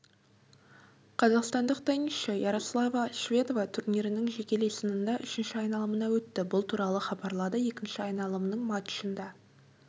қазақстандық теннисші ярослава шведова турнирінің жекелей сынында үшінші айналымына өтті бұл туралы хабарлады екінші айналымның матчында